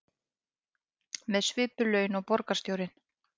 Með svipuð laun og borgarstjórinn